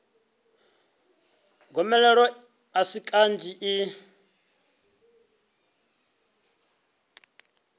gomelelo a si kanzhi i